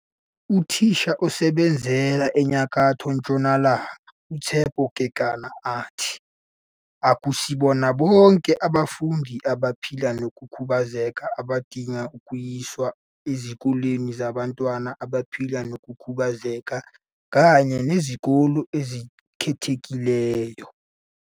Uthisha osebenzela eNyakatho Ntshonalanga uTshepo Kekana uthi, "Akusibona bonke abafundi abaphila nokukhubazeka abadinga ukuyiswa ezikoleni zabantwana abaphila nokukhubazeka kanye nezikole ezikhethekileyo.